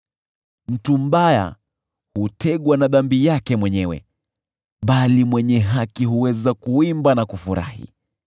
Mtu mbaya hutegwa na dhambi yake mwenyewe bali mwenye haki huweza kuimba na kufurahi.